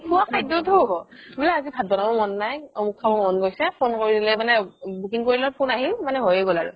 খুৱা খাদ্যতো হ'ব বুলে আজি ভাত বনাব মন নাই অমোক খাব মন গৈছে phone কৰি দিলে মানে booking কৰিলে phone আহিল মানে হৈয়ে গ'ল আৰু